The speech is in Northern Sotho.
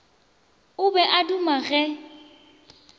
o be a duma ge